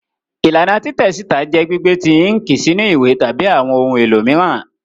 Ilana titẹ sita jẹ gbigbe ti inki sinu iwe tabi awọn ohun elo miiran.